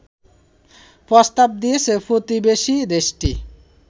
প্রস্তাব দিয়েছে প্রতিবেশী দেশটি